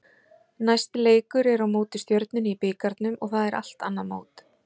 Næsti leikur er á móti Stjörnunni í bikarnum og það er allt annað mót.